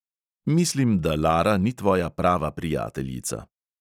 Mislim, da lara ni tvoja prava prijateljica.